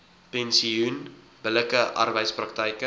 pensioen billike arbeidspraktyke